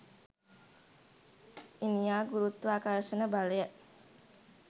ඊනියා ගුරුත්වාකර්ෂණ බලය